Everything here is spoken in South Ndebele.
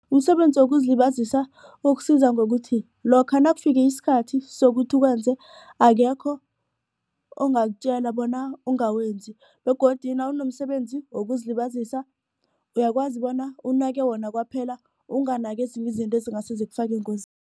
Umsebenzi wokuzilibazisa ukusiza ngokuthi lokha nakufika isikhathi sokuthi ukwenze akekho ongakutjela bona ungawenzi begodu nawunomsebenzi wokuzilibazisa uyakwazi bona unake wona kwaphela unganaki ezinye izinto ezingase zikufake